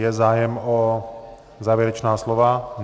Je zájem o závěrečná slova?